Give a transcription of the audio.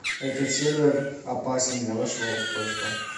этот сервер опасен для вашего устройства